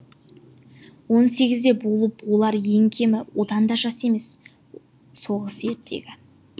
он сегізде болып олар ең кемі одан да жас емес соғыс ертегі